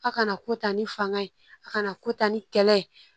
A kana ko ta ni fanga ye a kana kota ni kɛlɛ ye